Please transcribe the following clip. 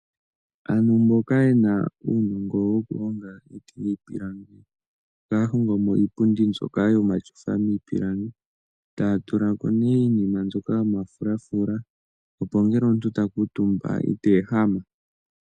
Aantu mboka ye na uunongo wokuhonga iiti niipilangi ohaya hongo mo iipundi mbyoka yomatyofa miipilangi taya tula ko nee iinima mbyoka yomafulafula, opo ngele omuntu ta kuutumba ko ita ehama.